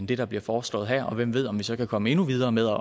det der bliver foreslået her hvem ved om vi så kan komme endnu videre med